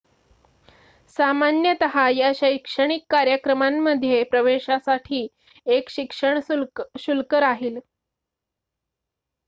सामान्यतः या शैक्षणिक कार्यक्रमांमध्ये प्रवेशासाठी एक शिक्षण शुल्क राहील